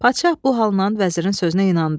Padşah bu halından vəzirin sözünə inandı.